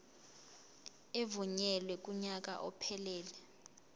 evunyelwe kunyaka ophelele